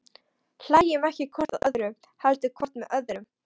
Hlæjum ekki hvort að öðru, heldur hvort með öðru.